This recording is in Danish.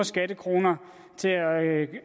skattekroner til at